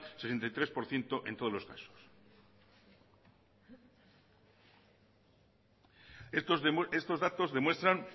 sesenta y tres por ciento en todos los casos estos datos demuestran